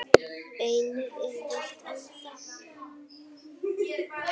Beinið er veikt ennþá.